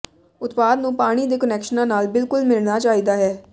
ਉਤਪਾਦ ਨੂੰ ਪਾਣੀ ਦੇ ਕੁਨੈਕਸ਼ਨਾਂ ਨਾਲ ਬਿਲਕੁਲ ਮਿਲਣਾ ਚਾਹੀਦਾ ਹੈ